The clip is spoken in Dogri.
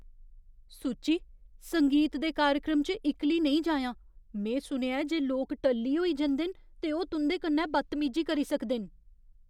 सुची। संगीत दे कार्यक्रम च इक्कली नेईं जाएआं। में सुनेआ ऐ जे लोक टल्ली होई जंदे न ते ओह् तुं'दे कन्नै बदतमीजी करी सकदे न।